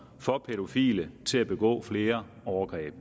for pædofile til at begå flere overgreb